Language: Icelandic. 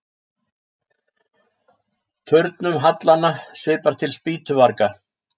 Turnum hallanna svipar til spýtuvarga.